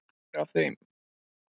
Tveir af þeim